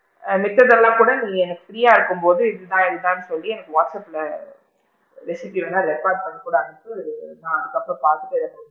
ஆ மிச்சது எல்லாம் கூட நீ எனக்கு free ஆ இருக்கும் போது இதுதான் இதுதான் ன்னு சொல்லி எனக்கு வாட்ஸ்அப்ல recipe வேணா record பண்ணி கூட அனுப்பு நான் அதுக்கு அப்பறம் பாத்துட்டு